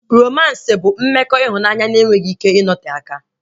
Romans bụ mmekọ ịhụnanya na enweghị ike ịnote aka